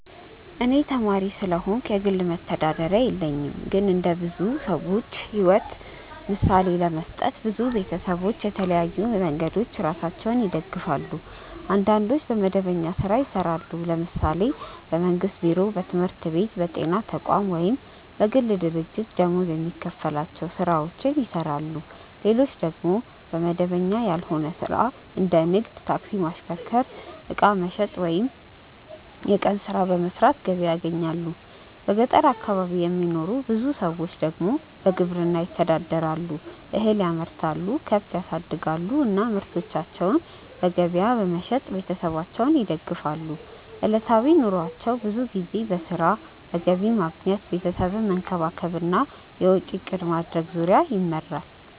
እኔ ተማሪ ስለሆንኩ የግል መተዳደሪያ የለኝም። ግን እንደ ብዙ ሰዎች ሕይወት ምሳሌ ለመስጠት፣ ብዙ ቤተሰቦች በተለያዩ መንገዶች ራሳቸውን ይደግፋሉ። አንዳንዶች በመደበኛ ሥራ ይሰራሉ፤ ለምሳሌ በመንግስት ቢሮ፣ በትምህርት ቤት፣ በጤና ተቋም ወይም በግል ድርጅት ደመወዝ የሚከፈላቸው ሥራዎችን ይሰራሉ። ሌሎች ደግሞ በመደበኛ ያልሆነ ሥራ እንደ ንግድ፣ ታክሲ ማሽከርከር፣ ዕቃ መሸጥ ወይም የቀን ሥራ በመስራት ገቢ ያገኛሉ። በገጠር አካባቢ የሚኖሩ ብዙ ሰዎች ደግሞ በግብርና ይተዳደራሉ፤ እህል ያመርታሉ፣ ከብት ያሳድጋሉ እና ምርታቸውን በገበያ በመሸጥ ቤተሰባቸውን ይደግፋሉ። ዕለታዊ ኑሯቸው ብዙ ጊዜ በሥራ፣ በገቢ ማግኘት፣ ቤተሰብን መንከባከብ እና የወጪ እቅድ ማድረግ ዙሪያ ይመራል።